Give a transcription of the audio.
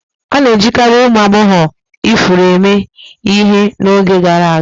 A na-ejikarị ụmụ agbọghọ ifuru eme ihe n'oge gara aga.